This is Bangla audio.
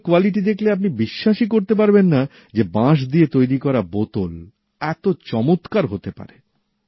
এগুলোর গুনমান দেখলে আপনি বিশ্বাসই করতে পারবেন না যে বাঁশ দিয়ে তৈরি করা বোতল এত চমৎকার হতে পারে